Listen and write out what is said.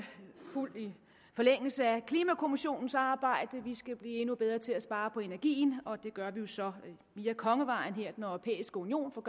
fuld forlængelse af klimakommissionens arbejde vi skal blive endnu bedre til at spare på energien og det gør vi så via kongevejen altså gennem den europæiske union for